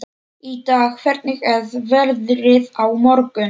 Ida, hvernig er veðrið á morgun?